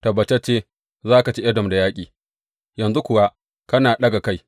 Tabbatacce ka ci Edom da yaƙi, yanzu kuwa kana ɗaga kai.